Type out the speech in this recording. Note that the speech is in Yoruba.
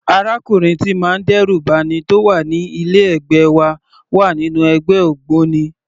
Arákùnrin tíì ń má dẹ́rù ba'ni tó wà ní ilé ẹ̀gbẹ́ wa wà nínú ẹgbẹ́ ògbóni.